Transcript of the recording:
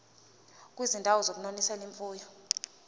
kwizindawo zokunonisela imfuyo